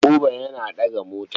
Buba yana ɗaga mota.